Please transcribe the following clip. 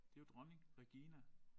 Det jo dronning Regina